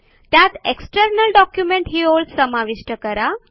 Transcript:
त्यात external document ही ओळ समाविष्ट करा